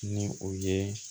Ni o ye